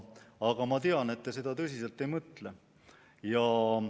Aga ma tean, et te seda tõsiselt ei mõtle.